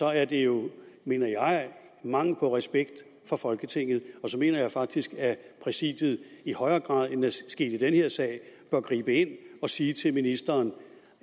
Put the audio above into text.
er det jo mener jeg mangel på respekt for folketinget og så mener jeg faktisk at præsidiet i højere grad end det er sket i den her sag bør gribe ind og sige til ministeren